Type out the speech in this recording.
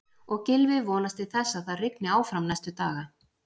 Og Gylfi vonast til þess að það rigni áfram næstu daga?